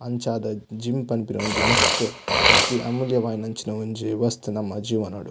ಅಂಚಾದ್ ಜಿಮ್ಮ್ ಪನ್ಪಿನ ಒಂಜಿ ಮಸ್ತ್ ಅತ್ತಿ ಅಮೂಲ್ಯವಾಯಿನಂಚಿನ ಒಂಜಿ ವಸ್ತು ನಮ್ಮ ಜೀವನಡ್.